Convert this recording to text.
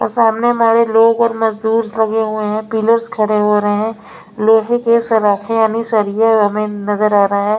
और सामने हमारे लोग और मजदूर लगे हुए हैं पिलर्स खड़े हो रहे हैं लोहे के सराखे यानी सरिया हमें नजर आ रहा हैं।